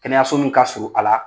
Kɛnɛyaso min ka surun a la